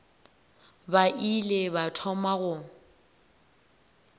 ba ile ba thoma go